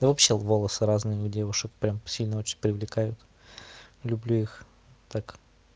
да вообще волосы разные у девушек прямо сильно очень привлекают люблю их так